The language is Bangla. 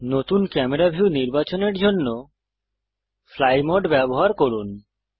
নতুন ক্যামেরা ভিউ নির্বাচনের জন্য ফ্লাই মোড ব্যবহার করুন